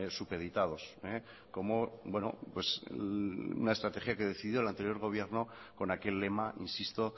supeditados como una estrategia que decidió el anterior gobierno con aquel lema insisto